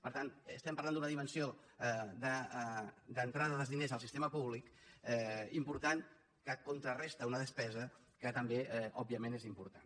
per tant parlem d’una dimensió d’entrada dels diners al sistema públic important que contraresta una despesa que també òbviament és important